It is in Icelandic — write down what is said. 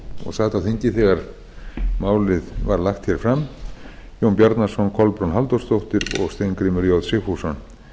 og sat á þingi þegar málið var lagt hér fram jón bjarnason kolbrún halldórsdóttir og steingrímur j sigfússon